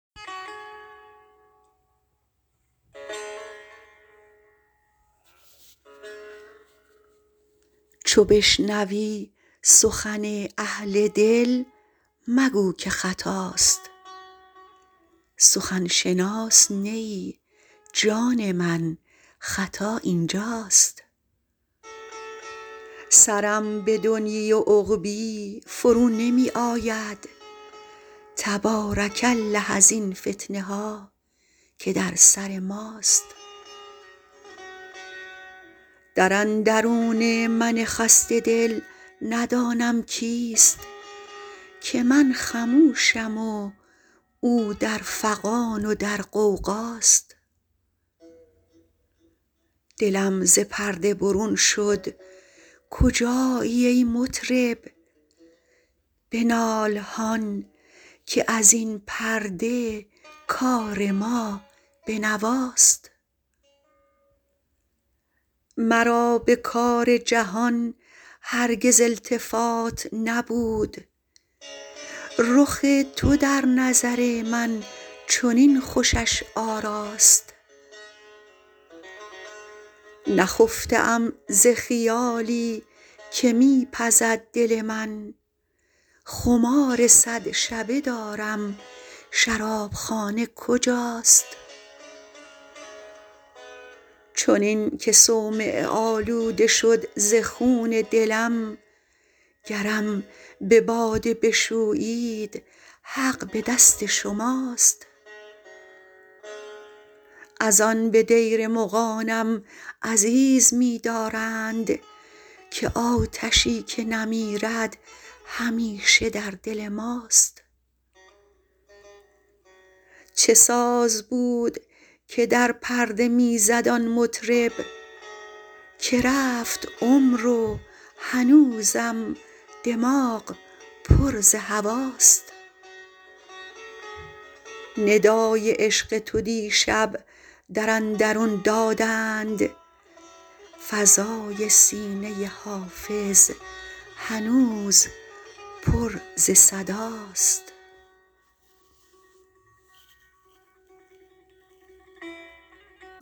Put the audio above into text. چو بشنوی سخن اهل دل مگو که خطاست سخن شناس نه ای جان من خطا این جاست سرم به دنیی و عقبی فرو نمی آید تبارک الله ازین فتنه ها که در سر ماست در اندرون من خسته دل ندانم کیست که من خموشم و او در فغان و در غوغاست دلم ز پرده برون شد کجایی ای مطرب بنال هان که از این پرده کار ما به نواست مرا به کار جهان هرگز التفات نبود رخ تو در نظر من چنین خوشش آراست نخفته ام ز خیالی که می پزد دل من خمار صد شبه دارم شراب خانه کجاست چنین که صومعه آلوده شد ز خون دلم گرم به باده بشویید حق به دست شماست از آن به دیر مغانم عزیز می دارند که آتشی که نمیرد همیشه در دل ماست چه ساز بود که در پرده می زد آن مطرب که رفت عمر و هنوزم دماغ پر ز هواست ندای عشق تو دیشب در اندرون دادند فضای سینه حافظ هنوز پر ز صداست